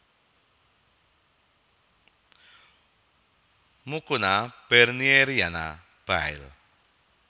Mucuna bernieriana Baill